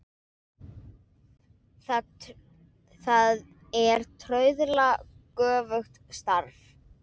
Það er trauðla göfugt starf.